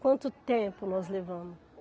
quanto tempo nós levamos.